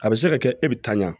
A bɛ se ka kɛ e bɛ tanɲan